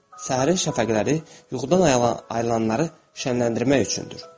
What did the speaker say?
Səhərin şəfəqləri yuxudan ayılanları şənənləndirmək üçündür.